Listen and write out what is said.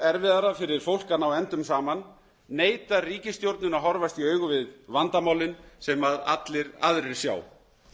erfiðara fyrir fólk að ná endum saman neitar ríkisstjórnin að horfast í augu við vandamálin sem allir aðrir sjá